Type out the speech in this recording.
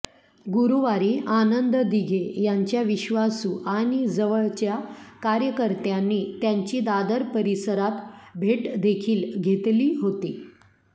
गुरुवारी आनंद दिघे यांच्या विश्वासू आणि जवळच्या कार्यकर्त्यानी त्यांची दादर परिसरात भेट देखील घेतली होती